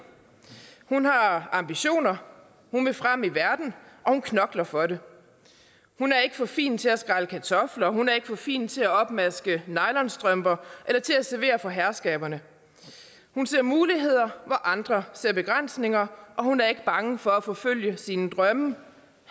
hun har ambitioner hun vil frem i verden og hun knokler for det hun er ikke for fin til at skrælle kartofler og hun er ikke for fin til at opmaske nylonstrømper eller til at servere for herskaberne hun ser muligheder hvor andre ser begrænsninger og hun er ikke bange for at forfølge sine drømme